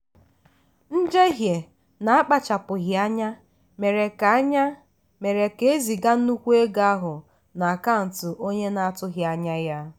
njehie na-akpachapụghị anya mere ka anya mere ka eziga nnukwu ego ahụ n'akaụntụ onye na-atụghị anya ya.